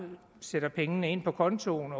sætter pengene ind på kontoen